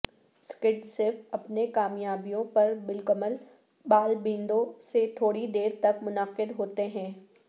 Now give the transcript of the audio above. sucked صف اپنی کامیابیوں پر بالکمل بال بینڈوں سے تھوڑی دیر تک منعقد ہوتے ہیں